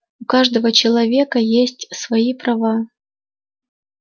у каждого человека есть свои права